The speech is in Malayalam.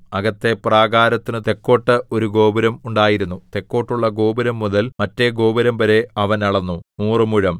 അകത്തെ പ്രാകാരത്തിനു തെക്കോട്ട് ഒരു ഗോപുരം ഉണ്ടായിരുന്നു തെക്കോട്ടുള്ള ഗോപുരംമുതൽ മറ്റെ ഗോപുരംവരെ അവൻ അളന്നു നൂറുമുഴം